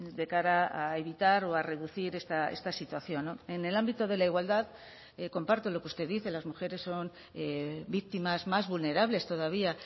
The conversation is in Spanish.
de cara a evitar o a reducir esta situación en el ámbito de la igualdad comparto lo que usted dice las mujeres son víctimas más vulnerables todavía